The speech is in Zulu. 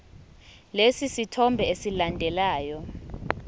lesi sithombe esilandelayo